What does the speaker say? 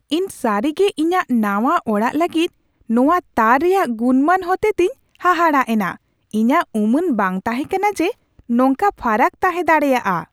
ᱤᱧ ᱥᱟᱹᱨᱤ ᱜᱮ ᱤᱧᱟᱹᱜ ᱱᱟᱶᱟ ᱚᱲᱟᱜ ᱞᱟᱹᱜᱤᱫ ᱱᱚᱶᱟ ᱛᱟᱨ ᱨᱮᱭᱟᱜ ᱜᱩᱱᱢᱟᱱ ᱦᱚᱛᱮᱛᱮᱧ ᱦᱟᱦᱟᱲᱟᱜ ᱮᱱᱟ ᱾ ᱤᱧᱟᱹᱜ ᱩᱢᱟᱹᱱ ᱵᱟᱝ ᱛᱟᱦᱮᱸ ᱠᱟᱱᱟ ᱡᱮ ᱱᱚᱝᱠᱟ ᱯᱷᱟᱨᱟᱠ ᱛᱟᱦᱮᱸ ᱫᱟᱲᱮᱭᱟᱜᱼᱟ ᱾